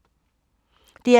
DR P2